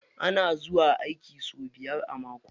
Ana zuwa aiki sau biyar a mako.